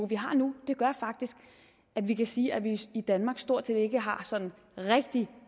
vi har nu gør faktisk at vi kan sige at vi i danmark stort set ikke har sådan rigtig